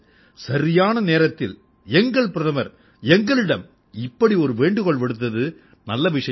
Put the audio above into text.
சரியான நேரத்தில் எங்கள் பிரதமர் எங்களிடம் இப்படி ஒரு வேண்டுகோள் விடுத்தது நல்ல விஷயம்